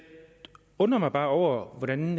undrer mig bare over hvordan